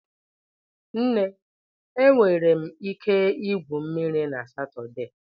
Nne, enwere m ike igwu mmiri na Satọde?